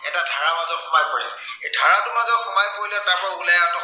এটা ধাৰাৰ মাজত সোমাই পৰে। এই ধাৰাটোৰ মাজত সোমাই পৰিলে তাৰপৰা ওলাই অহাটো